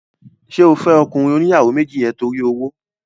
Ṣé o fẹ́ ọkùnrin oníyàwó méjì yẹn torí owó?